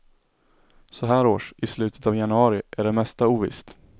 Så här års, i slutet av januari, är det mesta ovisst.